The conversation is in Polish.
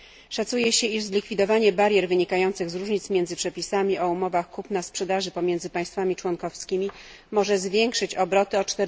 Szacuje się, iż zlikwidowanie barier wynikających z różnic między przepisami o umowach kupna sprzedaży pomiędzy państwami członkowskimi może zwiększyć obroty o